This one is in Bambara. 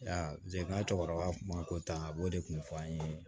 Ya n ka cɛkɔrɔba kuma ko tan a b'o de kun fɔ an ye